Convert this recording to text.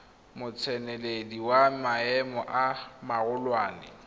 motseneledi wa maemo a magolwane